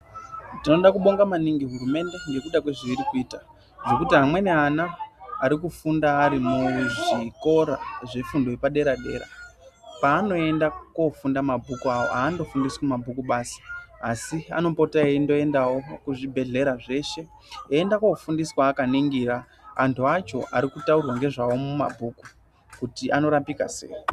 Tinoda kubonga maningi hurumende nekuda kwezveiri kuita ngekuti amweni ana arikufunda ari muzvikora zvefundo yepadera-dera, paanoenda kofunda mabhuku awo haandofundi mabhuku basi asi anopota eindoendawo kuzvibhedhlera zveshe, eienda kofundiswa akaningira antu acho arikutaurwa ngezvavo mumabhuku, kuti anorapika sei.